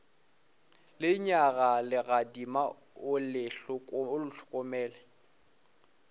lenyaga legadima o le hlokomele